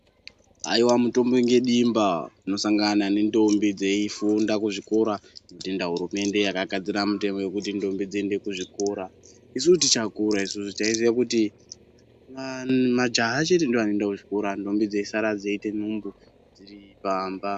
Haiwa mutombo nedimba tinosangana nentombi dzeifunga kuzvikora tinotenda hurumende yakagadzira mutemo wekuti ntombi dziende kuzvikora, isusu tichakura isusu taiziya kuti majaha chete ndiwo anoenda kuzvikora ntombi dzeisara dzeita nhumbu dziri pamba.